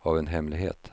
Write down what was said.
av en hemlighet.